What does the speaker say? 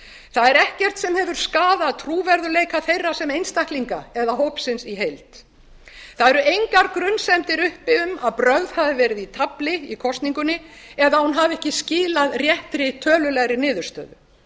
það er ekkert sem hefur skaðað trúverðugleika þeirra sem einstaklinga eða hópsins í heild það eru engar grunsemdir uppi um að brögð hafi verið í tafli í kosningunni eða að hún hafi ekki skilað réttri tölulegri niðurstöðu